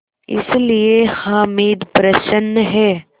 इसलिए हामिद प्रसन्न है